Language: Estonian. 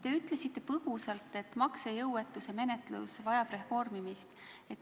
Te ütlesite põgusalt, et maksejõuetuse menetlus vajab reformimist.